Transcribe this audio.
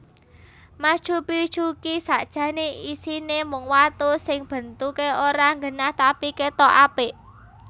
Machu Picchu ki sakjane isine mung watu sing bentuke ora nggenah tapi ketok apik